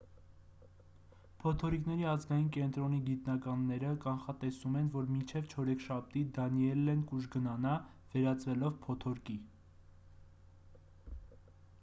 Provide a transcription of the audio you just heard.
փոթորիկների ազգային կենտրոնի գիտնականները կանխատեսում են որ մինչև չորեքշաբթի դանիելլեն կուժգնանա վերածվելով փոթորկի